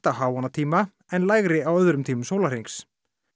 á háannatíma en lægri á öðrum tímum sólarhrings